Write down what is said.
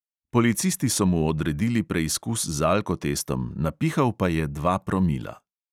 Policisti so mu odredili preizkus z alkotestom, napihal pa je dva promila.